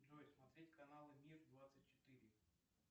джой смотреть каналы мир двадцать четыре